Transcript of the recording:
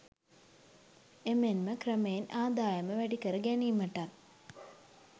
එමෙන්ම ක්‍රමයෙන් ආදායම වැඩිකර ගැනීමටත්